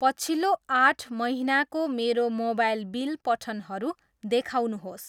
पछिल्लो आठ महिनाको मेरो मोबाइल बिल पठनहरू देखाउनुहोस्।